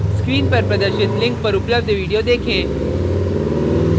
screen पर प्रदर्शित link पर उपलब्ध video देखें